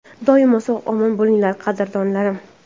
Doimo sog‘-omon bo‘linglar, qadrdonlarim!”